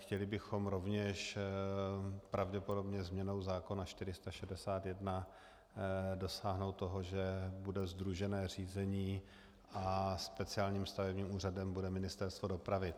Chtěli bychom rovněž pravděpodobně změnou zákona 461 dosáhnout toho, že bude sdružené řízení a speciálním stavebním úřadem bude Ministerstvo dopravy.